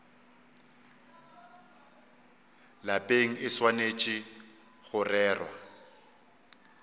lapeng e swanetše go rerwa